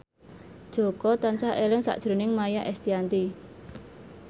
Jaka tansah eling sakjroning Maia Estianty